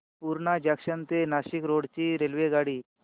Purna junction ते Nashik road ची रेल्वेगाडी